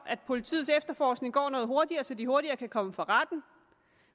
at politiets efterforskning går noget hurtigere så de hurtigere kan komme for retten